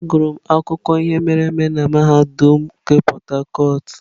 Agụrụ m akụkọ ihe mere eme na mahadum nke Port harcourt.